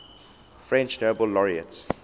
french nobel laureates